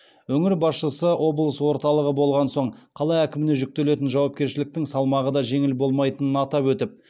өңір басшысы облыс орталығы болған соң қала әкіміне жүктелетін жауапкершіліктің салмағы да жеңіл болмайтынын атап өтіп